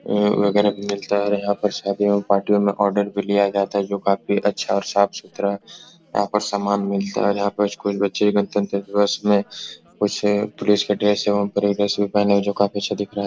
अ वगेरा भी मिलता है और यहां पर शादियों पार्टियो मे आर्डर भी लिया जाता है जो काफी अच्छा और साफ सुथरा यहाँ पर समान मिलता है। यहाँ पे स्कूल बच्चे गढ़तंत्र दिवस में कुछ पुलिस की ड्रेस एवं परी ड्रेस भी पहने जो काफी अच्छा दिख रहा है।